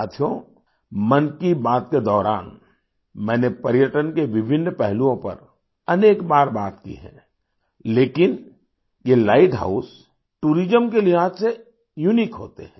साथियो मन की बात के दौरान मैंने पर्यटन के विभिन्न पहलुओं पर अनेक बार बात की है लेकिन ये लाइट हाउस टूरिज्म के लिहाज से यूनिक होते हैं